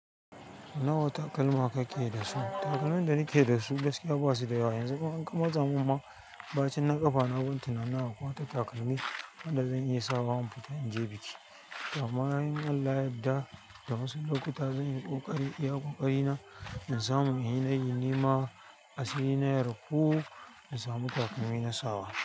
Nawa takalma ka ke da su? Takalmin da na ke da su gaskiya ba su da yawa. Yanzu kuma in ka matsa mun ma ɓacin na ƙafa, na ban tunanin akwai wata takalmi wanda da zan iya sawa don fita in je biki. Ta amma in Allah, yadda da wasu lokuta zan yi ƙoƙari in iya ƙoƙari na, na samu in yi nema asiri na ya rufu na samu takalmi na sawa.